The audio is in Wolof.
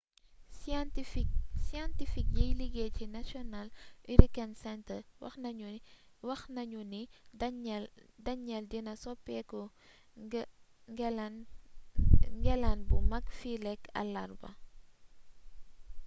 scientifique yiy liggéey ci national hurricane center wax nañu ni danielle dina sopeku ngelaane bu mag fileek àllarba